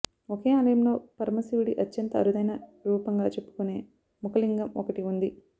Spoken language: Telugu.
ఒకే ఆలయంలో పరమశివుడి అత్యంత అరుదైన రూపంగ చెప్పుకొనే ముఖలింగం ఒకటి ఉంది